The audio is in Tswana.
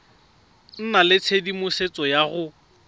nna le tshedimosetso ya go